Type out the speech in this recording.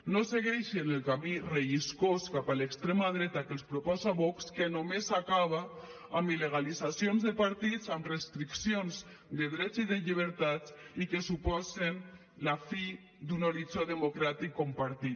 no segueixin el camí relliscós cap a l’extrema dreta que els proposa vox que només acaba amb il·legalitzacions de partits amb restriccions de drets i de llibertats i que suposen la fi d’un horitzó democràtic compartit